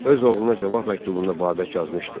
Öz oğluna cavab məktubunda Babək yazmışdı: